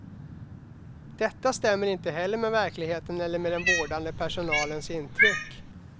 Detta stämmer inte heller med verkligheten eller med den vårdande personalens intryck.